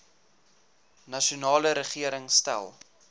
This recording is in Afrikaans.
nasionale regering stel